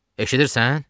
Eşidirsən?